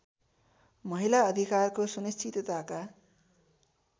महिला अधिकारको सुनिश्चितताका